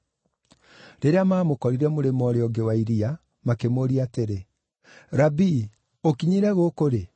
Rĩrĩa maamũkorire mũrĩmo ũũrĩa ũngĩ wa iria makĩmũũria atĩrĩ, “Rabii, ũkinyire gũkũ rĩ?”